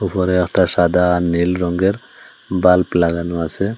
উপরে একটা সাদা আর নীল রঙ্গের বাল্প লাগানো আসে।